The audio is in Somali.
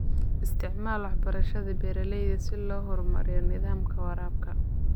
Isticmaal waxbarashada beeralayda si loo horumariyo nidaamka waraabka.